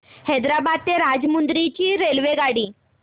हैदराबाद ते राजमुंद्री ची रेल्वेगाडी